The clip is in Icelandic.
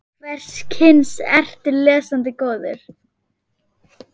Hvers kyns ertu lesandi góður?